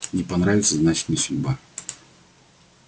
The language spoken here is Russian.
не понравится значит не судьба